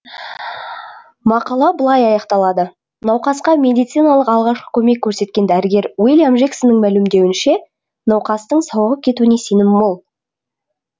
мақала былай аяқталады науқасқа медициналық алғашқы көмек көрсеткен дәрігер уильям жексонның мәлімдеуінше науқастың сауығып кетуіне сенім мол